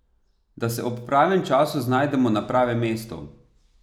Da se ob pravem času znajdemo na pravem mestu.